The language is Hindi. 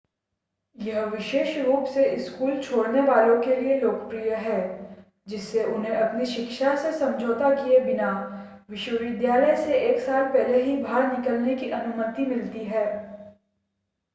यह विशेष रूप से स्कूल छोड़ने वालों के लिए लोकप्रिय है जिससे उन्हें अपनी शिक्षा से समझौता किए बिना विश्वविद्यालय से एक साल पहले ही बाहर निकलने की अनुमति मिलती है